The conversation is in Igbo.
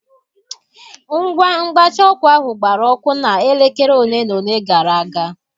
Ngwa mgbatị ọkụ ahụ gbara ọkụ na elekere ole na ole gara aga.